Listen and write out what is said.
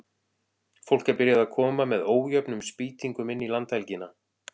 Fólk er byrjað að koma með ójöfnum spýtingum inn í landhelgina.